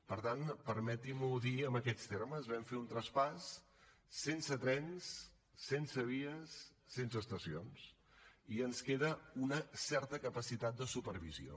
per tant permeti’m ho dir en aquest termes vam fer un traspàs sense trens sense vies sense estacions i ens queda una certa capacitat de supervisió